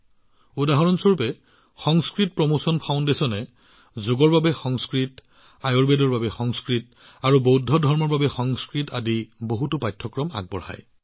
উদাহৰণস্বৰূপে সংস্কৃত প্ৰমোচন ফাউণ্ডেচনে যোগৰ বাবে সংস্কৃত আয়ুৰ্বেদৰ বাবে সংস্কৃত আৰু বৌদ্ধ ধৰ্মৰ বাবে সংস্কৃত আদি বহুতো পাঠ্যক্ৰম পৰিচালনা কৰে